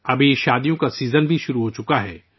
اب شادیوں کا سیزن بھی شروع ہو چکا ہے